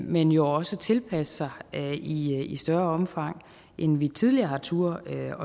men jo også tilpasse sig i i større omfang end vi tidligere har turdet